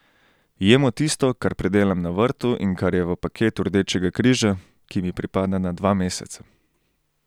Jemo tisto, kar pridelam na vrtu in kar je v paketu Rdečega križa, ki mi pripada na dva meseca.